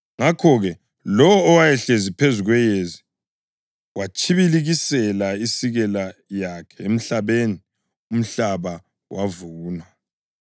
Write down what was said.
Ngakho-ke, lowo owayehlezi phezu kweyezi watshibilikisela isikela yakhe emhlabeni, umhlaba wavunwa.